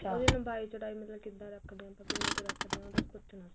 ਉਹਦੀ ਲੰਬਾਈ ਚੋੜਾਈ ਮਤਲਬ ਕਿੱਦਾ ਰੱਖਦੇ ਆਪਾਂ ਕਿੰਨੀ ਕੁ ਰੱਖਦੇ ਆ ਉਹ ਬੱਸ ਪੁੱਛਣਾ ਸੀ